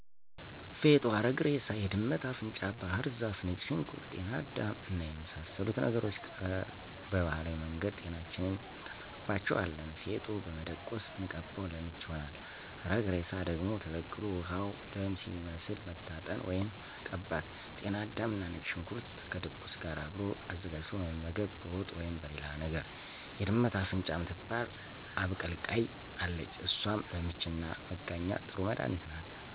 ፌጦ፣ አረግ እሬሳ፣ የድመት አፍንጫ ባህር ዛፍ፣ ነጭ ሽንኩርት፣ ጤና አዳም እና የመሳሰሉት ነገሮች ቀባህላዊ መንገድ ጤናችንን እንጠብቅባቸዋለን። ፌጦ በመደቆስ ብንቀባው ለምች ይሆናል። አረግ እሬሳ ደግሞ ተቀቅሎ ውሀው ደም ሲመስል መታጠን ወይም መቀባት።። ጤና አዳምና ነጭ ሽንኩርት ከድቁስ ጋር አብሮ አዘጋጅቶ መመገብ በወጥ ወይም በሌላ ነገር። የድመት አፍንጫ ምትባል አብቀላቅይ አለች እሷም ለምችና መጋኛ ጥሩ መድኃኒት ናት።